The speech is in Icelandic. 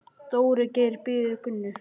Dóri Geir bíður Gunnu.